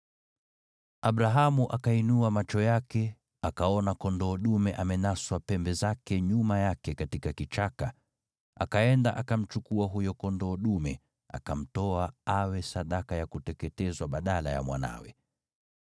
Abrahamu akainua macho yake, akaona kondoo dume amenaswa pembe zake nyuma yake katika kichaka. Akaenda akamchukua huyo kondoo dume, akamtoa awe sadaka ya kuteketezwa badala ya mwanawe.